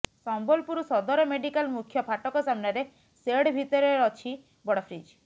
ସମ୍ବଲପୁର ସଦର ମେଡିକାଲ ମୁଖ୍ୟ ଫାଟକ ସାମ୍ନାରେ ସେଡ୍ ଭିତରେ ଅଛି ବଡ ଫ୍ରିଜ୍